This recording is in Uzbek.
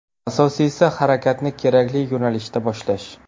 Asosiysi harakatni kerakli yo‘nalishda boshlash.